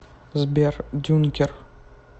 сбер дюнкер